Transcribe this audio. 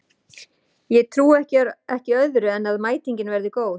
Ég trúi ekki öðru en að mætingin verði góð.